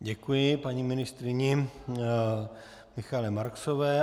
Děkuji paní ministryni Michaele Marksové.